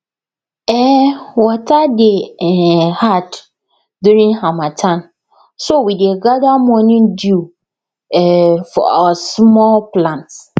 um water dey um hard during harmattan so we dey gather morning dew um for our small plants